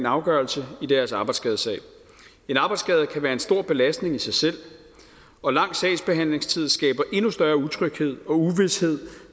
afgørelse i deres arbejdsskadesag en arbejdsskade kan være en stor belastning i sig selv og lang sagsbehandlingstid skaber endnu større utryghed og uvished